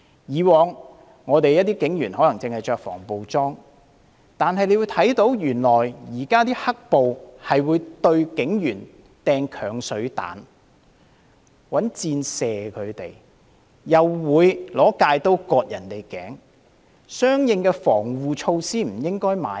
以往警員可能只穿着防暴裝備，但現時的"黑暴"原來會向警員投擲鏹水彈，向他們射箭，又會用鎅刀割頸，相應的防護措施是不應該購買的嗎？